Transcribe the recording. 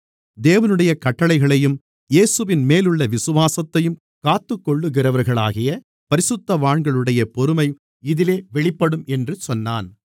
தேவனுடைய கட்டளைகளையும் இயேசுவின்மேலுள்ள விசுவாசத்தையும் காத்துக்கொள்ளுகிறவர்களாகிய பரிசுத்தவான்களுடைய பொறுமை இதிலே வெளிப்படும் என்று சொன்னான்